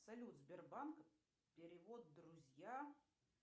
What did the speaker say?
салют сбербанк перевод друзьям